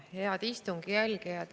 Head istungi jälgijad!